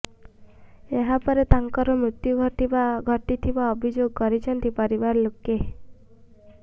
ଏହାପରେ ତାଙ୍କର ମୃତ୍ୟୁ ଘଟିଥିବା ଅଭିଯୋଗ କରିଛନ୍ତି ପରିବାର ଲୋକେ